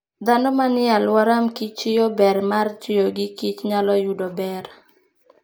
Dhano manie alwora mKichyo ber mar tiyo gi Kich nyalo yudo ber.